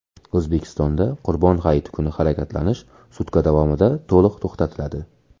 O‘zbekistonda Qurbon hayiti kuni harakatlanish sutka davomida to‘liq to‘xtatiladi.